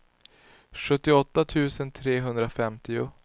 sjuttioåtta tusen trehundrafemtio